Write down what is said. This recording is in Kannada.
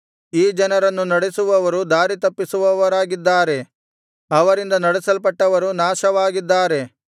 ಈ ಜನರನ್ನು ನಡೆಸುವವರು ದಾರಿ ತಪ್ಪಿಸುವವರಾಗಿದ್ದಾರೆ ಅವರಿಂದ ನಡೆಸಲ್ಪಟ್ಟವರು ನಾಶವಾಗಿದ್ದಾರೆ